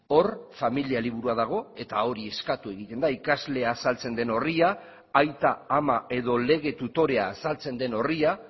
hor familia liburua dago eta hori eskatu egiten da ikaslea azaltzen den orria aita ama edo lege tutorea azaltzen den orria